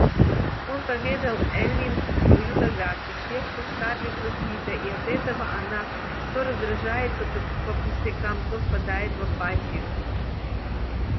он поведал эллин свою догадку сердце скарлетт разбито и от этого она то раздражается то по пустякам то впадает в апатию